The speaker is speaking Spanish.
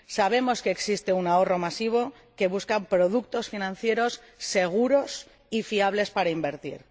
Sabemos que existe un ahorro masivo que busca productos financieros seguros y fiables para invertir.